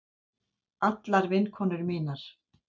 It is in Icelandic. Allar vinkonur mínar.